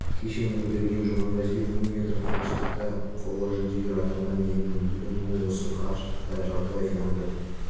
кеше нұрберген жұмағазиев мың метр қашықтықта қола жүлдегер атанған еді бүгін ол осы қашықтықта жартылай финалда